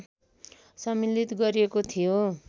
सम्मिलित गरिएको थियो